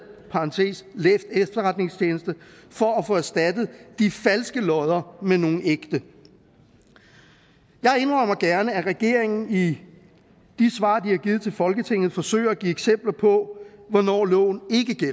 læs efterretningstjeneste for at få erstattet de falske lodder med nogle ægte jeg indrømmer gerne at regeringen i de svar de har givet til folketinget forsøger at give eksempler på hvornår loven